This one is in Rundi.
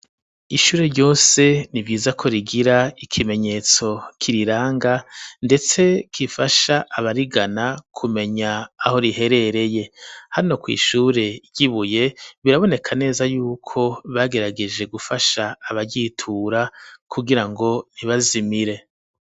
Ishure ryose ni vyiza ko rigira ikimenyetso kiriranga ndetse kifasha abarigana kumenya aho riherereye hano kw'ishure ry'ibuye biraboneka neza yuko bagerageje gufasha abagitura kugira ngo ntibazimire.